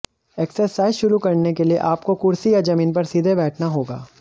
exercise शुरू करने के लिए आपको कुर्सी या जमीन पर सीधे बैठना होगा